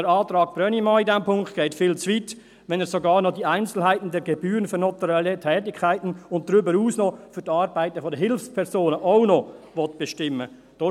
Der Antrag Brönnimann zu diesem Punkt geht viel zu weit, wenn er sogar noch die «Einzelheiten der Gebühren für notarielle Tätigkeiten» und darüber hinaus auch noch für die Arbeiten der Hilfspersonen bestimmen will.